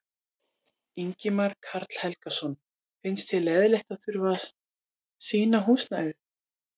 Ingimar Karl Helgason: Finnst þér leiðinlegt að þurfa að rýma húsnæðið?